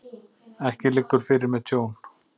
Ekki liggur fyrir með tjón